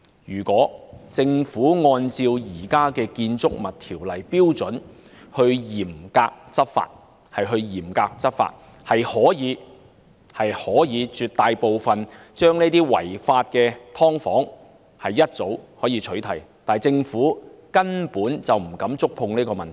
如果政府按照現行《建築物條例》的標準嚴格執法，其實早已可取締絕大部分違法的"劏房"，但政府根本不敢觸碰這個問題。